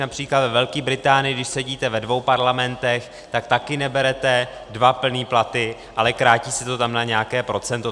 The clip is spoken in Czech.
Například ve Velké Británii, když sedíte ve dvou parlamentech, tak taky neberete dva plné platy, ale krátí se to tam na nějaké procento.